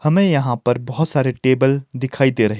हमें यहां पर बहोत सारे टेबल दिखाई दे रहे--